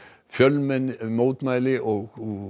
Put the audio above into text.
fjölmenni mótmælti og